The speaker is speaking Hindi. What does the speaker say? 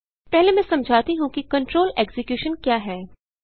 पहले मैं समझाती हूँ कि कंट्रोल एक्जिक्यूशन क्या है